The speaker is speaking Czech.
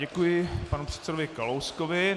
Děkuji panu předsedovi Kalouskovi.